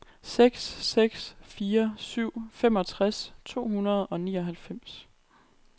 seks seks fire syv femogtres to hundrede og nioghalvfems